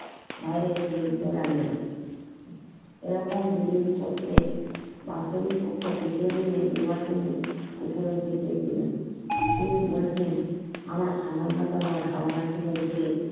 বাইরে ছড়িয়ে জেতে লাগল এইরকম দুদিন করতে ডাক্তার পক্ষে তৃতীয় দিনে নির্বাচনে উপলব্ধি করেছিলেন তিনি বসলে আমার সামান্যতম ধারনা ছিল যে